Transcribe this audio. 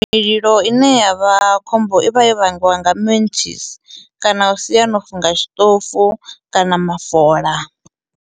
Mililo ine yavha khombo i vha yo vhangiwa nga mentshisi kana u sia no funga tshiṱofu kana mafola.